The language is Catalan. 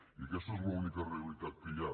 i aquesta és l’única realitat que hi ha